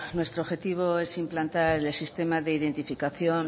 nuestro objetivo es implantar el sistema de identificación